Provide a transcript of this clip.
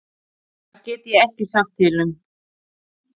Það get ég ekki sagt til um.